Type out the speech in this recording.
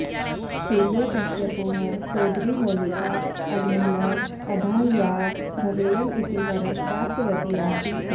हिरण्यकश्यपोः सोदरी होलिका अग्निना अदाह्या भवेयम् इति वरं प्राप्तवती आसीत्